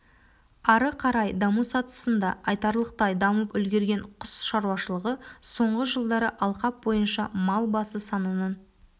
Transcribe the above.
ары қарай даму сатысында айтарлықтай дамып үлгерген құс шаруашылығы соңғы жылдары алқап бойынша мал басы санының